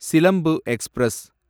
Silambu express